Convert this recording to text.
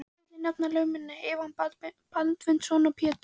Fyrsta vil ég nefna lögmennina Einar Baldvin Guðmundsson og Pétur